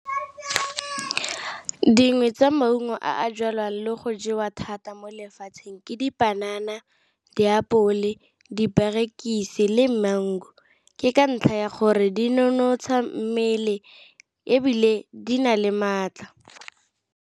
Dingwe tsa maungo a jalwang le go jewa thata mo lefatsheng ke dipanana, diapole, diperekise le mango. Ke ka ntlha ya gore di nonotsha mmele, ebile di na le maatla.